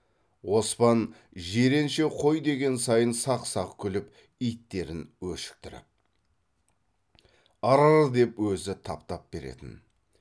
оспан жиренше қой деген сайын сақ сақ күліп иттерін өшіктіріп ыр р деп өзі тап тап беретін